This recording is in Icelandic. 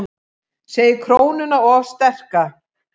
Segir krónuna of sterka